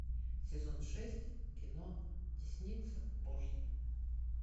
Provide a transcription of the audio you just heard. сезон шесть кино десница божья